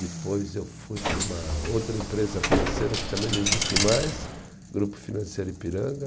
Depois eu fui para uma outra empresa financeira que também não existe mais, Grupo Financeiro Ipiranga.